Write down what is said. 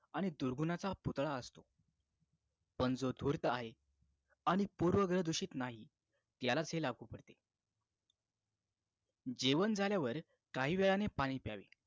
आणि दुर्गुणाचा पुतळा असतो पण जो धूर्त आहे आणि पूर्वग्रह दूषित नाही यालाच हे लागू पडते जेवण झाल्यावर काही वेळाने पाणी प्यावे